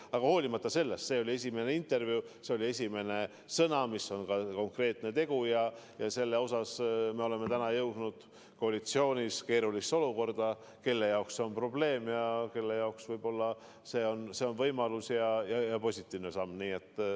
Aga hoolimata sellest, see oli algne intervjuu, need olid algsed sõnad, see oli konkreetne tegu, ja selles osas me oleme täna jõudnud koalitsioonis keerulisse olukorda: kelle jaoks see on probleem ja kelle jaoks see on võib-olla võimalus ja positiivne samm.